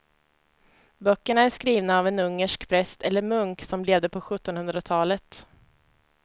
Böckerna är skrivna av en ungersk präst eller munk som levde på sjuttonhundratalet.